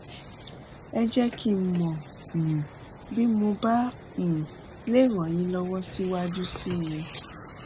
ẹ jẹ kí n mọ um bí mo bá um lè ràn yín lọwọ síwájú sí i